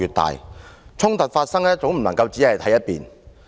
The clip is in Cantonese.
當衝突發生，絕不能只聽一面之詞。